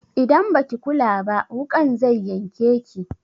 Idan baki kula ba wuƙan zai yanke ki.